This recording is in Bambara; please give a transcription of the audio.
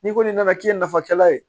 N'i kɔni nana k'i ye nafakɛla ye